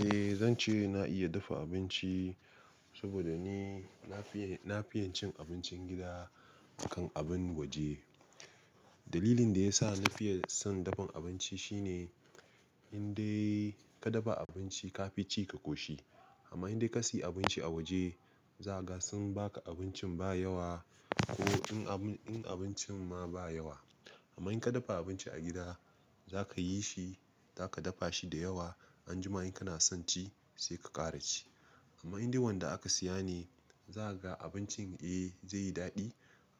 Eh, zan ce na iya dafa abinci saboda ni na fiye, na fiye cin abincin gida kan abin waje. Dalilin da ya sa na fiye son dafan abinci shine, in dai ka dafa abinci ka fi ci ka koshi. Amma in dai ka sayi abinci a waje, za ga sun ba ka abincin ba yawa ko in abun, in abincin ma ba yawa. Amma in ka dafa abinci a gida, za ka yi shi, za ka dafa shi da yawa. Anjima in kana son ci sai ka ƙara ci. Amma in dai wanda aka siya ne, za kaga abincin eh zai yi daɗi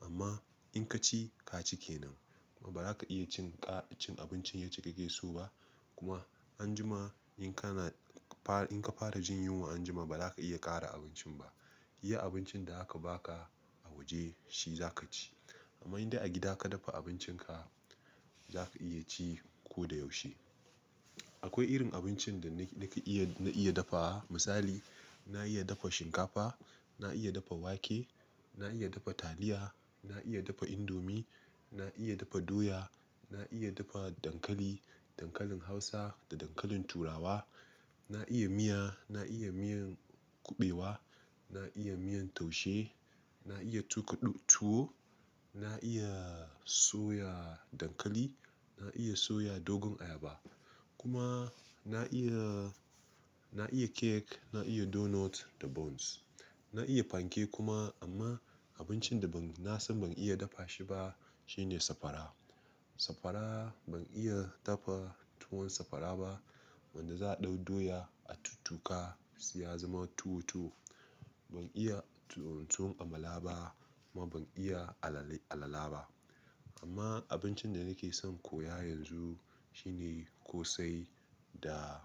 amma in ka ci ka cike nan. Kuma ba za ka iya cin ƙa-- abincin yacce kake so ba. Kuma anjima in kana fara, in ka fara jin yunwa anjima ba za ka iya ƙara abincin ba. Iya abincin da aka ba ka a waje shi za ka ci. Amma in dai a gida ka dafa abincin ka, za ka iya ci ko da yaushe. Akwai irin abincin da ni kake iya, na iya dafa. Misali, na iya dafa shinkafa, na iya dafa wake, na iya dafa taliya, na iya dafa indomie, na iya dafa doya, na iya dafa dankali, dankalin Hausa da dankalin Turawa. Na iya miya, na iya miyan kuɓewa, na iya miyan taushe, na iya tuƙuɗu tuwo, na iya soya dankali, na iya soya dogon ayaba. Kuma na iya, na iya cake, na iya donut da buns. Na iya panke kuma amma abincin da ban, na san ban iya dafa shi ba shine sakwara. Sakwara ban iya dafa tuwon sakwara ba wanda za a ɗau doya a tattuka sai ya zama tuwo tuwo. Ban iya tuwon amala ba kuma ban iya alale, alala ba. Amma abincin da nake son koya yanzu shine ƙosai da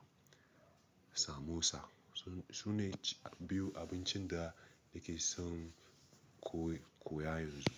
samosa. Su, sune biyu abincin da nake son koyi, koya yanzu.